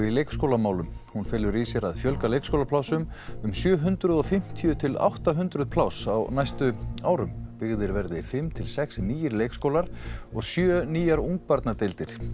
í leikskólamálum hún felur í sér að fjölga leikskólaplássum um sjö hundruð og fimmtíu til átta hundruð pláss á næstu árum byggðir verði fimm til sex nýir leikskólar og sjö nýjar ungbarnadeildir